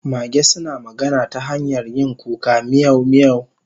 Mage suna magana ta hanyar yin kuka miyau miyau